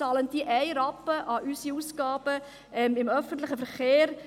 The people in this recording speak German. Bezahlen sie einen Rappen an unsere Ausgaben im öffentlichen Verkehr?